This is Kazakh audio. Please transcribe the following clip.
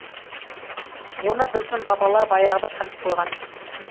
оны біздің бабалар баяғыда танып қойған